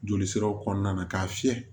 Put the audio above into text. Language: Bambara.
Joli siraw kɔnɔna na k'a fiyɛ